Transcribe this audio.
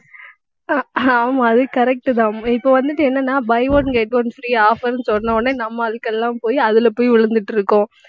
ஆஹ் ஆமா அது correct தான். இப்ப வந்துட்டு என்னன்னா buy one get one free offer ன்னு சொன்னவுடனே நம்ம ஆட்களெல்லாம் போய் அதில போய் விழுந்துட்டிருக்கோம்